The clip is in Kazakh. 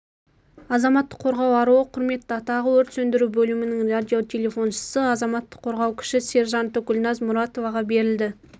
азаматтық қорғау аруы құрметті атағы өрт сөндіру бөлімінің радиотелефоншысы азаматтық қорғау кіші сержанты гүлназ мұратоваға берілді